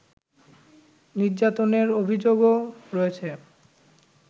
নির্যাতনের অভিযোগও রয়েছে